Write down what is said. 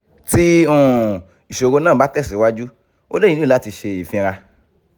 ti um iṣoro naa ba tesiwaju o le nilo lati ṣe ifinra